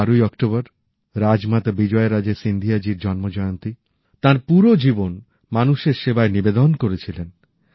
এই ১২ ই অক্টোবর রাজমাতা বিজয় রাজে সিন্ধিয়াজীর জন্মজয়ন্তী তাঁর পুরো জীবন মানুষের সেবায় নিবেদিত করেছিলেন